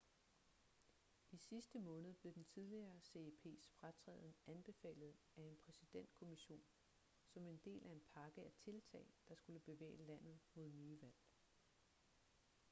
i sidste måned blev den tidligere ceps fratræden anbefalet af en præsidentkommision som en del af en pakke af tiltag der skulle bevæge landet mod nye valg